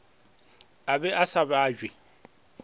a be a sa abje